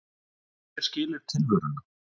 Hver skilur tilveruna?